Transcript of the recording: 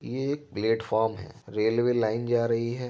यह एक प्लेटफार्म है रेलवे लाइन जा रही है।